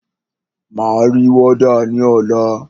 Máa ri wọ́dà ní ọ̀la.